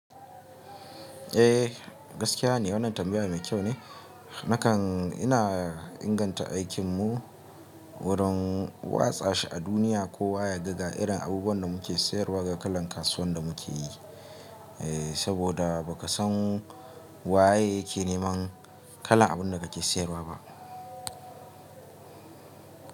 Eh gaskiya ne wannan tambaya mai kyau ne nakan ina inganta aikinmu warun watsa shi a duniya ko wa yaga ga irin abubuwan da muke sayarwa da kalan kasuwan da muke yi, eh saboda ba ka san waye yake neman kalan abun da kake sayarwa ba.